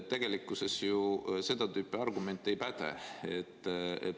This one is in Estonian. Tegelikkuses ju seda tüüpi argument ei päde.